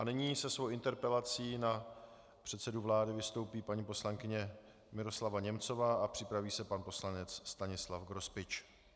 A nyní se svou interpelací na předsedu vlády vystoupí paní poslankyně Miroslava Němcová a připraví se pan poslanec Stanislav Grospič.